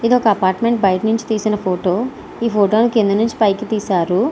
ఇది ఒక అపార్ట్మెంట్ బయట నుంచి తీసిన ఫోటో ఈ ఫోటో ని కింద నుంచి పైకి తీశారు.